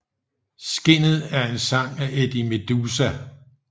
Skinnet er en sang af Eddie Meduza